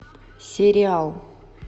сериал